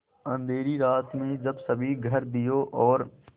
अँधेरी रात में जब सभी घर दियों और